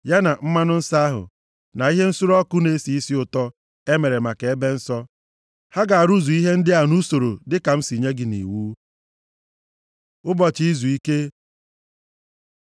Ya na mmanụ nsọ ahụ, na ihe nsure ọkụ na-esi isi ụtọ e mere maka Ebe Nsọ. “Ha ga-arụzu ihe ndị a nʼusoro dịka m si nye gị ya nʼiwu.” Ụbọchị izuike